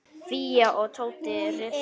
Fía og Tóti rifust.